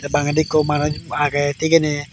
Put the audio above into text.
bangedi ekku manuj agey thigeney.